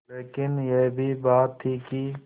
लेकिन यह भी बात थी कि